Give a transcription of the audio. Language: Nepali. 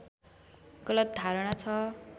गलत धारणा ६